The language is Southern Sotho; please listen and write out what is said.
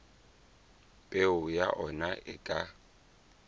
peo ya ona e ka